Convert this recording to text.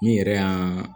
N yɛrɛ y'a